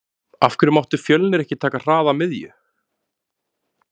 Af hverju mátti Fjölnir ekki taka hraða miðju?